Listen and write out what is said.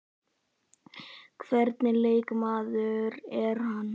Hvernig leikmaður er hann?